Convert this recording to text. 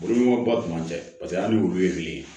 Boloko ba tun man ca paseke hali ni olu ye kile